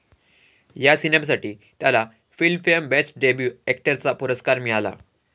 या सिनेमासाठी त्याला फिल्म फेयर बेस्ट डेब्यू अॅक्टरचा पुरस्कार मिळाला.